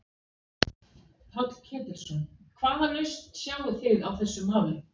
Páll Ketilsson: Hvaða lausn sjáið þið á þessu máli?